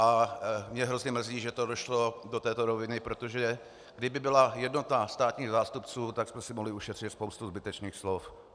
A mě hrozně mrzí, že to došlo do této roviny, protože kdyby byla jednota státních zástupců, tak jsme si mohli ušetřit spoustu zbytečných slov.